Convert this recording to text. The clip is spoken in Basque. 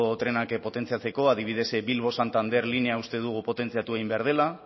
trenak potentziako adibidez bilbo santander linea uste dugu potentziatu egin behar dela